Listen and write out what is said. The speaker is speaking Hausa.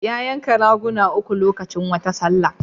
Ya yanka raguna uku lokacin wata sallah.